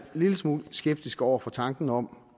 lille smule skeptiske over for tanken om